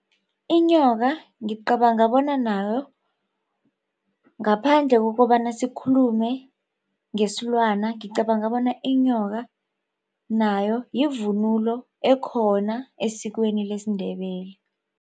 Inyoka ngicabanga bona nayo ngaphandle kokobana sikhulume ngesilwana ngicabanga bona inyoka nayo yivunulo ekhona esikweni lesiNdebele.